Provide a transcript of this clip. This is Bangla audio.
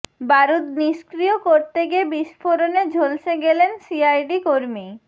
বারুদ নিষ্ক্রিয় করতে গিয়ে বিস্ফোরণে ঝলসে গেলেন সিআইডি কর্মী